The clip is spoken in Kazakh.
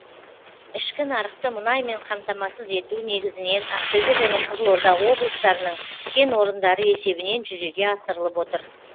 ішкі нарықты мұнаймен қамтамасыз ету негізінен ақтөбе және қызылорда облыстарының кен орындары есебінен жүзеге асырылып отыр